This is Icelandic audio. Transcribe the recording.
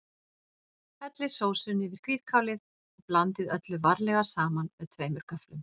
Hellið sósunni yfir hvítkálið og blandið öllu varlega saman með tveimur göfflum.